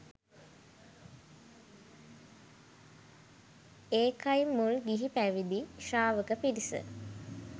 ඒකයි මුල් ගිහි පැවිදි ශ්‍රාවක පිරිස